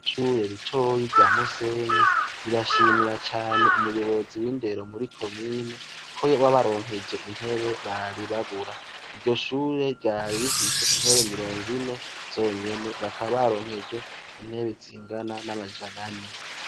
Ishure ritoyi rya musenyi rirashimira cane umuyobozi w’indero muri komine ko yabaronkeje intebe bari babura. Iryoshure ryari rifise intebe mirongo ine zonyene, bakaba baronkejwe intebe zingana n’amajana ane.